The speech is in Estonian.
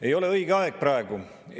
Ei ole õige aeg praegu!